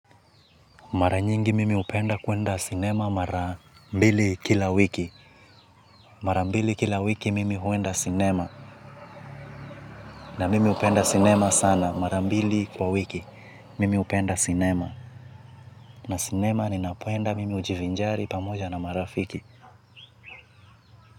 Mara nyingi mimi hupenda kuenda cinema mara mbili kila wiki. Mara mbili kila wiki mimi huenda cinema. Na mimi upenda cinema sana mara mbili kwa wiki. Mimi upenda cinema. Na cinema ninapenda mimi ujivinjari pamoja na marafiki.